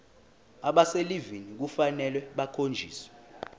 abaselivini kufanele bakhonjiswe